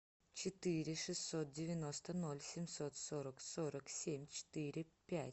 четыре шестьсот девяносто ноль семьсот сорок сорок семь четыре пять